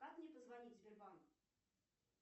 как мне позвонить в сбербанк